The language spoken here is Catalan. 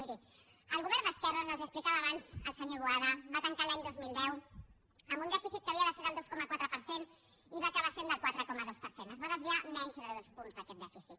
miri el govern d’esquerres els ho explicava abans el senyor boada va tancar l’any dos mil deu amb un dèficit que havia de ser del dos coma quatre per cent i que va acabar sent del quatre coma dos per cent es va desviar menys de dos punts d’aquest dèficit